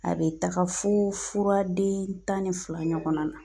A bɛ taga fo furaden tan ni fila ɲɔgɔnna na.